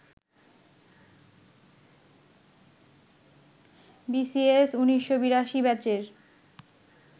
BCS ১৯৮২ ব্যাচের